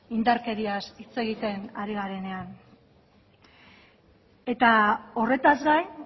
indarkeriaz hitz egiten ari garenean eta horretaz gain